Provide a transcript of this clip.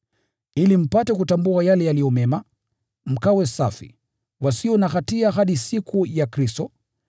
ili mpate kutambua yale yaliyo mema, mkawe safi, wasio na hatia hadi siku ya Kristo,